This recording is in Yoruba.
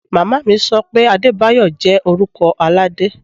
Mama mi so pé Adebayo jẹ́ orúkọ Aládé.